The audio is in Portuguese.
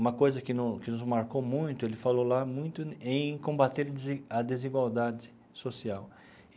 Uma coisa que no que nos marcou muito, ele falou lá, muito em combater a desi a desigualdade social.